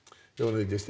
og þið